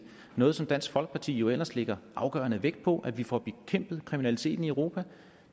noget som dansk folkeparti jo ellers lægger afgørende vægt på altså at vi får bekæmpet kriminaliteten i europa